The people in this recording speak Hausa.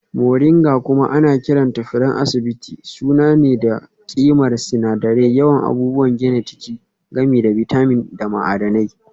Moringa kuma ana kiranta furen asibiti sananne ne da ƙimar sinadirai, yawan abubuwan gina jiki, gami da bitamin da ma'adanai.